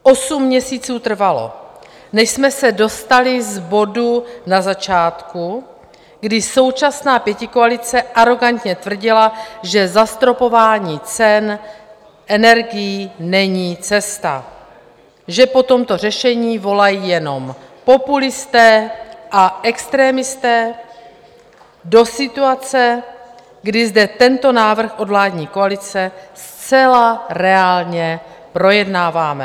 Osm měsíců trvalo, než jsme se dostali z bodu na začátku, kdy současná pětikoalice arogantně tvrdila, že zastropování cen energií není cesta, že po tomto řešení volají jenom populisté a extremisté, do situace, kdy zde tento návrh od vládní koalice zcela reálně projednáváme.